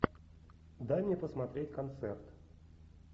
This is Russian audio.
дай мне посмотреть концерт